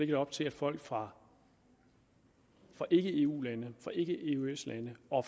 det op til at folk fra fra ikke eu lande fra ikke eøs lande og